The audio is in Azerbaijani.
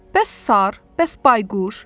Bəs sar, bəs bayquş?